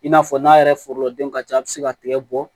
I n'a fɔ n'a yɛrɛ foro denw ka ca a bɛ se ka tigɛ bɔ